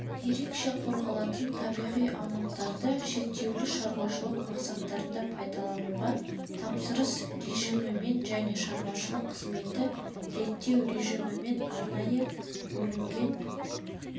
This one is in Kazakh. ерекше қорғалатын табиғи аумақтарды шектеулі шаруашылық мақсаттарында пайдалануға тапсырыс режиммен және шаруашылық қызметті реттеу режиммен арнайы бөлінген